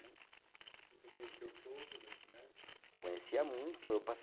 Você conhecia o povo da cidade? Conhecia muito eu